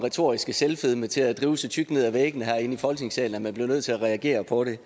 retoriske selvfedme til at drive så tykt ned ad væggene herinde i folketingssalen at man bliver nødt til at reagere på det